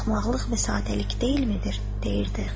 Bu axmaqlıq və sadəlik deyilmidir, deyirdi.